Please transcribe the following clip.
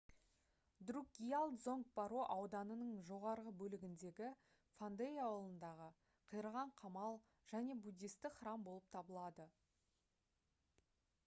друкгиал дзонг паро ауданының жоғарғы бөлігіндегі фондей ауылындағы қираған қамал және буддистік храм болып табылады